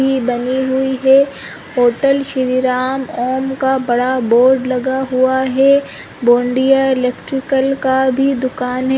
भी बनी हुई है होटल श्रीराम ओम का बड़ा बोर्ड लगा हुआ है बोंडिया इलेक्ट्रिकल का भी दुकान है।